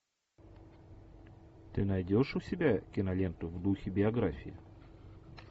ты найдешь у себя киноленту в духе биографии